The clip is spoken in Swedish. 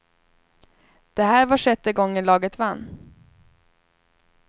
Det här var sjätte gången laget vann.